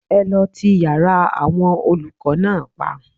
Ẹ lọ ti yára àwọn olùkọ́ náà pa